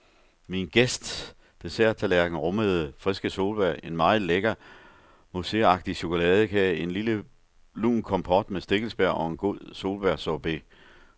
Min gæsts desserttallerken rummede friske solbær, en meget lækker, mousseagtig chokoladekage, en lille lun kompot med stikkelsbær og en god solbærsorbet.